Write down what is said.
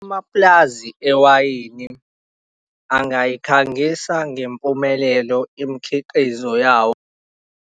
Amapulazi ewayini angayikhangisa ngempumelelo imikhiqizo yawo.